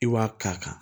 I b'a k'a kan